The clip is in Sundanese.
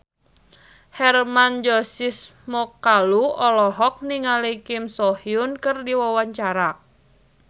Hermann Josis Mokalu olohok ningali Kim So Hyun keur diwawancara